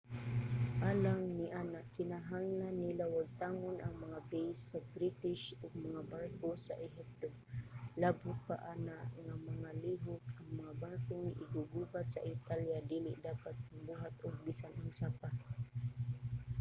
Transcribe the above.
alang niana kinahanglan nila wagtangon ang mga base sa british ug mga barko sa ehipto. labot pa ana nga mga lihok ang mga barkong iggugubat sa italya dili dapat magbuhat og bisan unsa pa